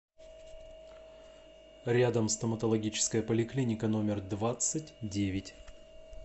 рядом стоматологическая поликлиника номер двадцать девять